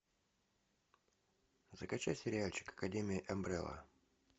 закачай сериальчик академия амбрелла